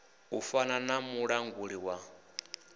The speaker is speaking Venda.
u fana na mulanguli wa